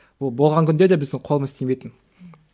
ол болған күнде де біздің қолымыз тимейтін ммм